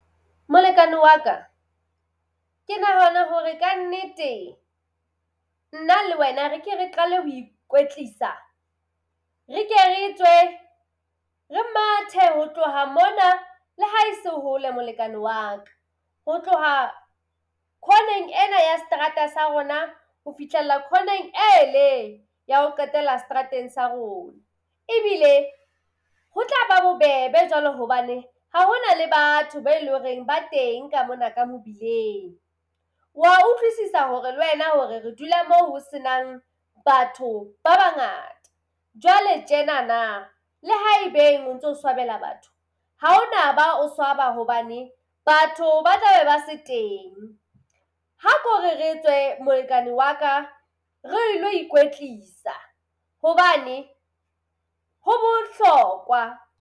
Molekane wa ka ke nahana hore kannete nna le wena re ke re qale ho ikwetlisa, re ke re tswe re mathe ho tloha mona le ha e se hole molekane wa ka. Ho tloha khoneng ena ya seterata sa rona ho fihlella khoneng ele ya ho qetela setrateng sa rona ebile ho tla ba bobebe jwalo hobane ha hona le batho be leng hore ba teng ka mona ka mobileng. Wa utlwisisa hore le wena hore re dula mo ho senang batho ba bangata. Jwale tjenana le haebeng o ntso swabela batho ha o na ba o swaba hobane batho ba tla be ba se teng. Ha ko re re tswe molekane wa ka re ilo ikwetlisa hobane ho bohlokwa.